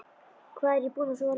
Hvað er ég búinn að sofa lengi?